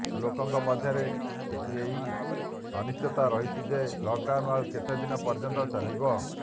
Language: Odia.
ଲୋକଙ୍କ ମଧ୍ୟରେ ଏହି ଅନିଶ୍ଚିତତା ରହିଛି ଯେ ଲକ୍ଡାଉନ୍ ଆଉ କେତେ ଦିନ ପର୍ଯ୍ୟନ୍ତ ଚାଲିବ